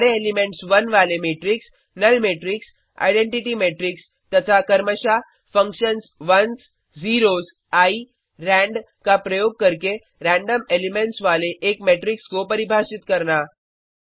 सारे एलिमेंट्स 1 वाले matrix null matrix identity matrix तथा क्रमशः functions ones zeros eye rand का प्रयोग करके रैंडम एलिमेंट्स वाले एक मेट्रिक्स को परिभाषित करना